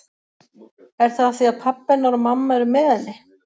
Er það af því að pabbi hennar og mamma eru með henni?